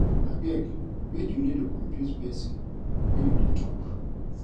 Abeg, make you no dey confuse pesin wen you dey tok.